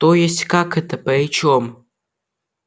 то есть как это при чём